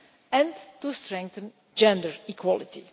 and strengthening gender equality.